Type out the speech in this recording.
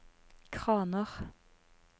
kraner